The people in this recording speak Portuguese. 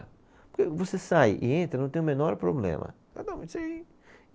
Porque você sai e entra, não tem o menor problema.